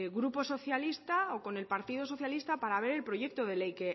grupo socialista o con el partido socialista para ver el proyecto de ley